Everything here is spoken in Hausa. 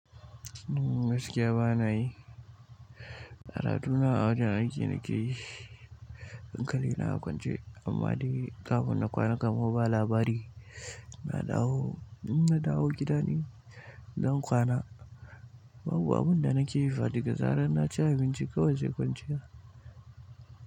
Gaskiya ba na yi. Al'aduna a wajen aikin na ke yi, hankali na a kwance amma dai kafin na kwana kamar ba labari. Na dawo, na dawo gida ne don kwana. Babu abin da nake fa daga zarar na ci abinci kawai zai kwanciya.